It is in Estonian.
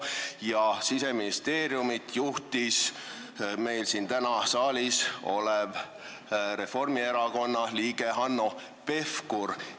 Ja Siseministeeriumi juhtis tollal meil täna siin saalis olev Reformierakonna liige Hanno Pevkur.